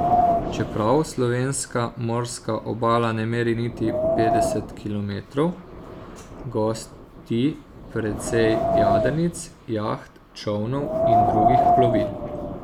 Čeprav slovenska morska obala ne meri niti petdeset kilometrov, gosti precej jadrnic, jaht, čolnov in drugih plovil.